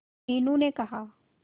मीनू ने कहा